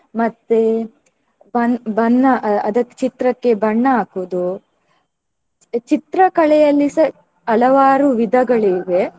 ಮತ್ತೇ ಬಣ್~ ಬಣ್ಣ ಅಹ್ ಅದಕ್ಕೆ ಚಿತ್ರಕ್ಕೆ ಬಣ್ಣ ಹಾಕುವುದು ಚಿತ್ರಕಲೆಯಲ್ಲಿಸ ಹಲವಾರು ವಿಧಗಳಿವೆ.